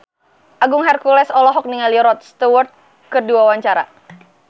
Agung Hercules olohok ningali Rod Stewart keur diwawancara